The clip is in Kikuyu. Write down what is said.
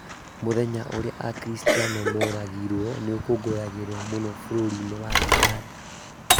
Mũthenya ũrĩa akiristiano moragirwo nĩũkũngũyagĩrwo mũno bũrũri-inĩ wa ũganda